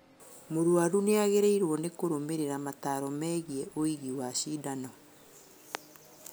Mũrwaru nĩagĩrĩirwo nĩkũrũmĩrĩra mataro megiĩ ũigi wa cindano